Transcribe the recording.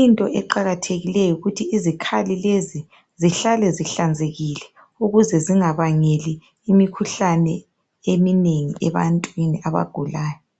into eqhakathekileyo yikuthi izikhali lezi zihlale zihlambulukile ukuze zingabangeli imikhuhlane eminengi ebantwini abagulayo